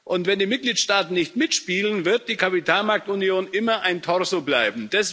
Und wenn die Mitgliedstaaten nicht mitspielen, wird die Kapitalmarktunion immer ein Torso bleiben.